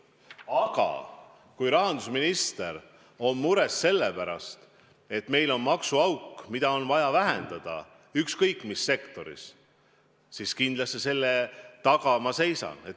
Aga kui rahandusminister on mures selle pärast, et meil on ükskõik mis sektoris maksuauk, mida on vaja vähendada, siis selle taga ma kindlasti seisan.